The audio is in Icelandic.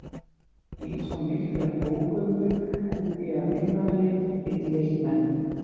Í svo miklar ógöngur held ég að einmanaleikinn geti leitt menn.